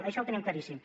això ho tenim claríssim